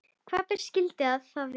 Hvaða ber skyldu það vera?